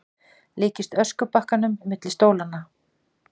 Líkist öskubakkanum milli stólanna.